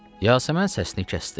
Yasəmən səsini kəsdi.